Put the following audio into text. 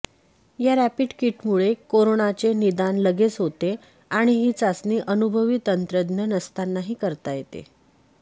या रॅपिड किटमुळे करोनाचे निदान लगेच होते आणि ही चाचणी अनुभवी तंत्रज्ञ नसतानाही करता येते